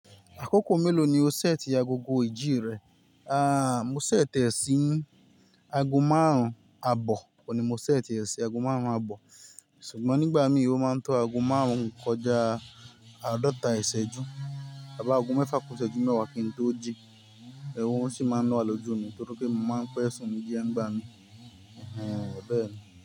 Àkókò mélòó ni o ṣètì agogo ìjí rẹ? A, mo ṣètì e síí ago márùn-ún àbọ̀, ọ́ ni mo ṣètì e sí ago márùn-ún àbọ̀. Ṣùgbọ́n nígbà mi ó máa ń to ago márùn-ún kọjá àádọ́ta ìṣẹ́jú. Tàbí ago mẹ́fà kuṣẹ́jú mẹ́wàá kí n tó jí. Ẹ̀wọ̀run sì máa ń wa lójú mi nítorí pé mo máa ń pẹ́ sùn ní díẹ̀ ń gbá mi. Ẹ̀hẹn, bẹ́ẹ̀ ni.